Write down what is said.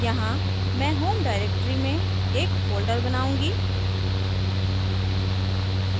यहाँ मैं home directory में एक folder बनाऊँगा